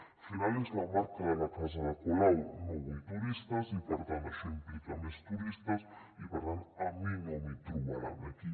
al final és la marca de la casa de colau no vull turistes i per tant això implica més turistes i per tant a mi no m’hi trobaran aquí